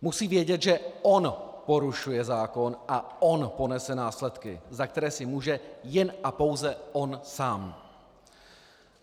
Musí vědět, že on porušuje zákon a on ponese následky, za které si může jen a pouze on sám.